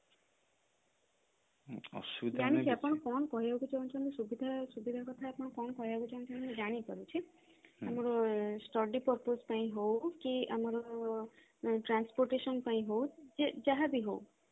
ଜାଣିଛି ଆପଣ କଣ କହିବାକୁ ଚାହୁଁଛନ୍ତି ସୁବିଧା ସୁବିଧା କଥା ଆପଣ କଣ କହିବାକୁ ଚାହୁଁଛନ୍ତି ମୁଁ ଜାଣିପାରୁଛି ଆମର study purpose ପାଇଁ ହଉ କି ଆମର transportation ପାଇଁ ହଉ ଯାହା ବି ହଉ